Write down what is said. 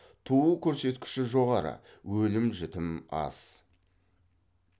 туу көрсеткіші жоғары өлім жітім аз